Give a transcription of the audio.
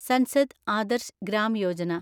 Sansad Adarsh Gram Yojana